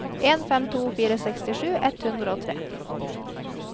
en fem to fire sekstisju ett hundre og tre